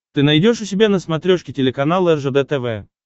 ты найдешь у себя на смотрешке телеканал ржд тв